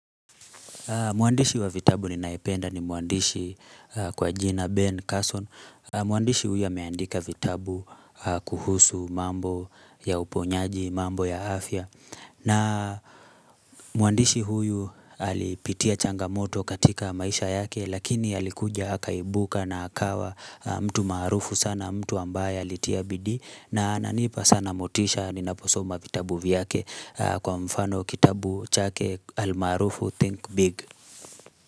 Mwandishi wa vitabu ninayependa ni mwandishi kwa jina Ben Carson. Mwandishi huyu ameandika vitabu kuhusu mambo ya uponyaji, mambo ya afya. Na mwandishi huyu alipitia changamoto katika maisha yake, lakini alikuja akaibuka na akawa mtu marufu sana, mtu ambaye alitia bidi. Na ananipa sana motisha ninaposoma vitabu vyake kwa mfano kitabu chake almarufu Think Big.